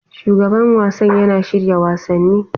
Shugaban wasan yana shirya wasanni.